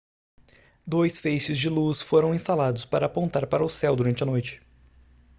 dois feixes de luz foram instalados para apontar para o céu durante a noite